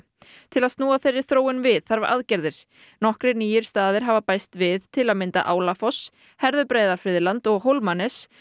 til að snúa þeirri þróun við þarf aðgerðir nokkrir nýir staðir hafa bæst við til að mynda Álafoss og Hólmanes